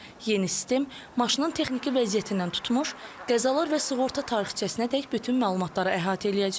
Yeni sistem maşının texniki vəziyyətindən tutmuş, qəzalar və sığorta tarixçəsinədək bütün məlumatları əhatə eləyəcək.